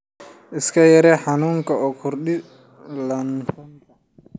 Iska yaree xanuunka oo Kordhi ladnaanta.